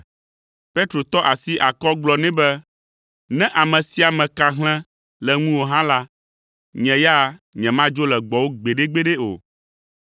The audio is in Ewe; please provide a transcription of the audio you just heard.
Petro tɔ asi akɔ gblɔ nɛ be, “Ne ame sia ame ka hlẽ le ŋuwò hã la, nye ya nyemadzo le gbɔwò gbeɖegbeɖe o.”